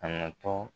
A natɔ